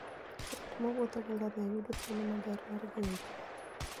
Ng'at mowuotho gi ngamia yudo thuolo maber mar ng'iyo chwech.